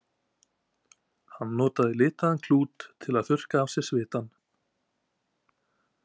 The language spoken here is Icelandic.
Hann notaði litaðan klút til að þurrka af sér svitann.